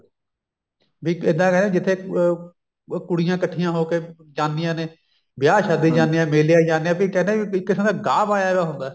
ਵੀ ਇੱਦਾਂ ਕਹਿੰਦੇ ਜਿੱਥੇ ਕੁੜੀਆਂ ਇੱਕਠੀਆਂ ਹੋ ਕੇ ਜਾਂਦੀਆਂ ਨੇ ਵਿਆਹ ਸ਼ਾਦੀਆਂ ਚ ਜਾਂਦੀਆਂ ਨੇ ਮੇਲੇ ਚ ਜਾਂਦੀਆਂ ਨੇ ਵੀ ਇੱਕ ਕਿਸਮ ਦਾ ਗਾਹ ਪਾਇਆ ਪਿਆ ਹੁੰਦਾ